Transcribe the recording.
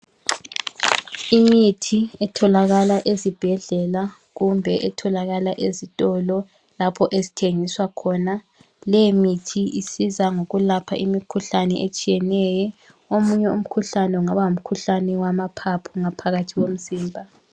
Imithi etholakala ezibhedlela kumbe etholakala ezitolo lapho ezithengiswa khona. Leyi mithi isiza ngokulapha imkhuhlane etshiyeneyo, omunye umkhuhlane kungaba ngumkhuhlane wamaphaphu phakathi komzimba.